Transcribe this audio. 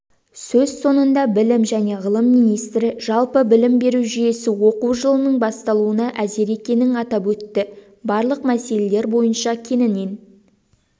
сөз соңында білім және ғылым министрі жалпы білім беру жүйесі оқу жылының басталуына әзір екенін атап өтті барлық мәселелер бойынша кеңінен